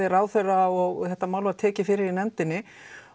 ráðherra og þetta mál var tekið fyrir í nefndinni